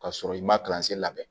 Ka sɔrɔ i ma labɛn